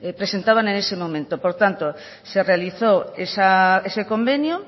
presentaban en ese momento por tanto se realizó ese convenio